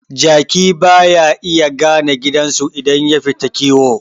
Jaki baya iya gane gidansu idan yafita kiwo